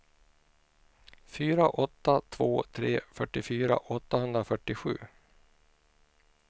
fyra åtta två tre fyrtiofyra åttahundrafyrtiosju